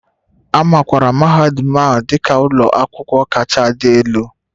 A makwaara mahadum dị ka ụlọ akwụkwọ kacha adị elu